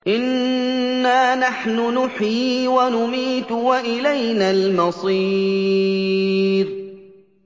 إِنَّا نَحْنُ نُحْيِي وَنُمِيتُ وَإِلَيْنَا الْمَصِيرُ